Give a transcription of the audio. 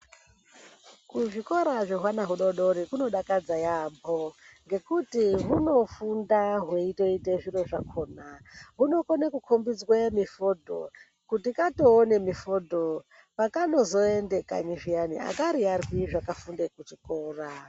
Kuzvikora zvehwana hudodori kunodakadza yampho ngekuti hunofunda hweitoita zviro zvakhona. Hunokona kukombidzwe mifodho. Kuti katoona mifodho pakanozoenda kanyi zviyani akariyarwi zvakafunda kuchikora.